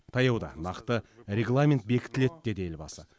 таяуда нақты регламент бекітіледі деді елбасы